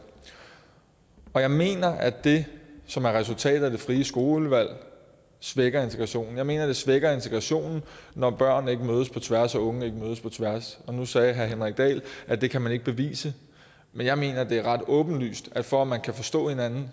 og jeg mener at det som er resultatet af det frie skolevalg svækker integrationen jeg mener at det svækker integrationen når børn ikke mødes på tværs og unge ikke mødes på tværs nu sagde herre henrik dahl at det kan man ikke bevise men jeg mener at det er ret åbenlyst for at man kan forstå hinanden